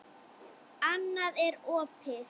Annað er opið.